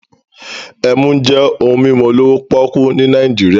Emu jẹ́ ohun mímu olówó pọ́ọ́kú ní Nàìjíríà